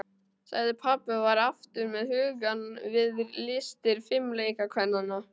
sagði pabbi og var aftur með hugann við listir fimleikakvennanna.